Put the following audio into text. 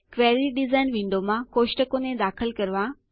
query design વિન્ડોમાં ટેબલો કોષ્ટકોને દાખલ કરવા